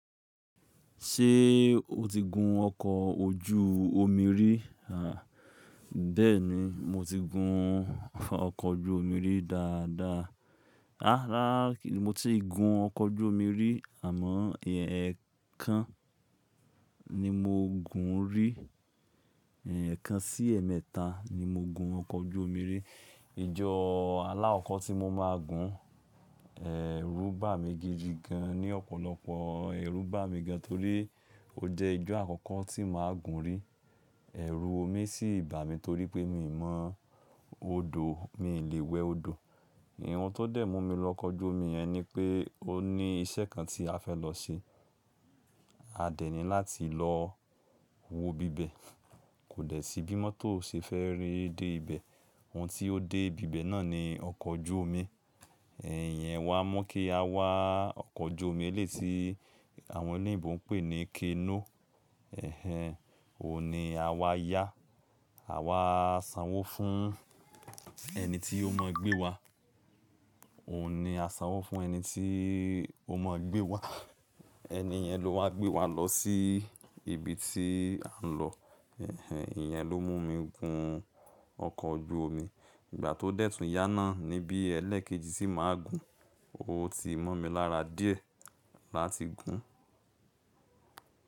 Ṣé o ti gun ọkọ̀ ojú omi rí? À, bẹ́ẹ̀ ni, mo ti gun ọkọ̀ ojú omi rí dáadáa. Rárá kì í, mo ti gun ọkọ̀ ojú omi rí àmọ́ èèyàn ẹ̀ kan ni mo gun rí. Ẹ̀ kan sí ẹ̀ mẹ́ta ni mo gun ọkọ̀ ojú omi rí. Ijọ́ alá ọkọ̀ tí mo máa gun, ẹ̀ rú bà mí gidi gan, ní ọ̀pọ̀lọpọ̀ ẹ̀ rú bà mí gan torí ó jẹ́ ijọ́ àkọ́kọ́ tí mà ń gun rí. Ẹ̀ rùn omi sì bà mí torí pé mi ò mọ̀ odò, mi ò lè wẹ odò. Ìhun tó dẹ̀ mú mi lọ ọkọ̀ ojú omi yẹn ni pé ó ní iṣẹ́ kan tí a fẹ́ lọ ṣe. A dẹ̀ ní láti lọ wo bíbẹ̀. Kò dẹ̀ sí bí mọ́tò ṣe fẹ́ rí dé ibẹ̀. Ohun tí ó dé bíbẹ̀ náà ni ọkọ̀ ojú omi. Ẹ̀yẹn wá mú kí a wá ọkọ̀ ojú omi ẹlẹ́yi tí àwọn oní oyinbò ń pè ní kénúù. Ẹ̀hẹn, òun ni a wá yá. A wá sanwó fún ẹni tí ó mọ gbé wa. Òun ni a sanwó fún ẹni tí ó mọ gbé wa. Ẹni yẹn ló wá gbé wa lọ sí ibi tí a ń lọ. Ẹ̀hẹn, ìyẹn ló mú mi gun ọkọ̀ ojú omi. Ìgbà tó dẹ̀ tún yá náà ni bí ẹlẹ́ẹ̀kejì tí mà ń gun, ó ti mọ́ mi lára díẹ̀ láti gun.